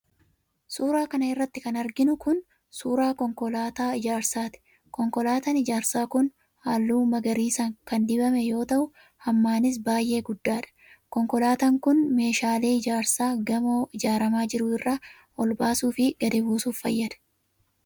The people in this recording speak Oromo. Suura kana irratti kan arginu kun, suura konkolaataa ijaarsaati. Konkolaataan ijaarsaa kun ,haalluu magariisa kan dibame yoo ta'u, hammanis baay'ee guddaadha. Konkolaataan kun, meeshaalee ijaarsaa gamoo ijaaramaa jiru irra ol baasuu fi gadi buusuf fayyada.